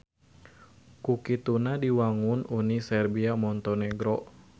Ku kituna diwangun Uni Serbia Montenegro.